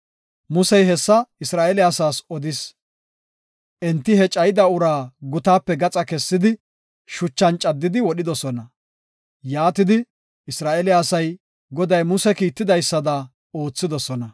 Musey hessa Isra7eele asaas odis; enti he cayida uraa gutaape gaxa kessidi, shuchan caddidi wodhidosona. Yaatidi Isra7eele asay Goday Muse kiitidaysada oothidosona.